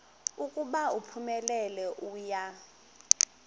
ukuba uphumelele uya